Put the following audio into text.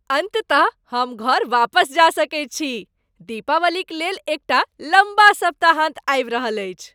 अन्ततः हम घर वापस जा सकैत छी। दीपावलीक लेल एकटा लम्बा सप्ताहान्त आबि रहल अछि।